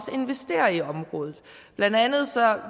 investere i området blandt andet